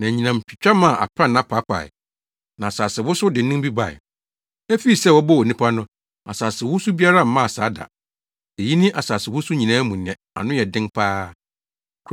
Na anyinam twitwa maa aprannaa paapaee, na asasewosow dennen bi bae. Efii sɛ wɔbɔɔ onipa no, asasewosow biara mmaa saa da. Eyi ne asasewosow nyinaa mu nea ano yɛ den pa ara.